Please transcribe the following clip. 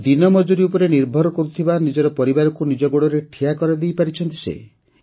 ସେମାନେ ଦିନମଜୁରୀ ଉପରେ ନିର୍ଭର କରୁଥିବା ନିଜର ପରିବାରକୁ ନିଜ ଗୋଡ଼ରେ ଠିଆ କରାଇ ପାରିଛନ୍ତି